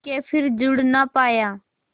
के फिर जुड़ ना पाया